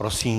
Prosím.